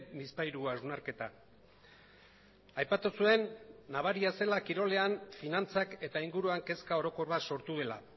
bizpahiru hausnarketa aipatu zuen nabaria zela kirolean finantzak eta inguruan kezka orokor bat sortu dela